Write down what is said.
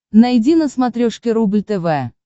найди на смотрешке рубль тв